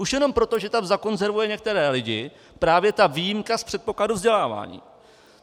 Už jenom proto, že tam zakonzervuje některé lidi právě ta výjimka z předpokladu vzdělávání.